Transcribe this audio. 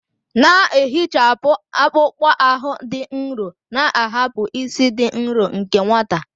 Na-ehichapụ akpụkpọ ahụ dị nro, na-ahapụ ísì dị nro nke nwata.